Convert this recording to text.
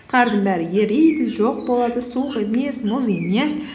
қардың бәрі ериді жоқ болады суық емес мұз емес